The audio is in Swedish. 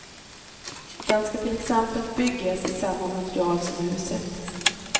Den ska till exempel byggas i samma material som huset.